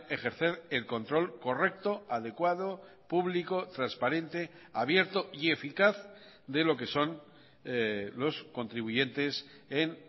ejercer el control correcto adecuado público transparente abierto y eficaz de lo que son los contribuyentes en